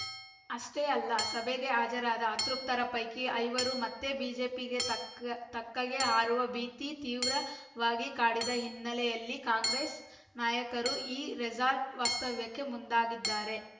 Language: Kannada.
ಅಷ್ಟೇ ಅಲ್ಲ ಸಭೆಗೆ ಹಾಜರಾದ ಅತೃಪ್ತರ ಪೈಕಿ ಐವರು ಮತ್ತೆ ಬಿಜೆಪಿಯ ತಕ್ಕ ತಕ್ಕೆಗೆ ಹಾರುವ ಭೀತಿ ತೀವ್ರವಾಗಿ ಕಾಡಿದ ಹಿನ್ನೆಲೆಯಲ್ಲಿ ಕಾಂಗ್ರೆಸ್‌ ನಾಯಕರು ಈ ರೆಸಾರ್ಟ್‌ ವಾಸ್ತವ್ಯಕ್ಕೆ ಮುಂದಾಗಿದ್ದಾರೆ